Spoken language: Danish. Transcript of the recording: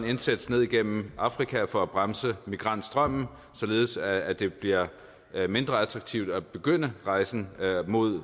indsats ned gennem afrika for at bremse migrantstrømmen således at det bliver mindre attraktivt at begynde rejsen mod